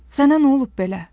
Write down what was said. Sənə nə olub belə?